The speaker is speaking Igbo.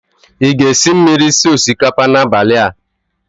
Ị ga-esi mmiri sie osikapa n'abalị a?